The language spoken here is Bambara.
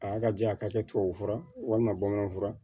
A y'a ka ja ka kɛ tubabufura ye walima bamananw furan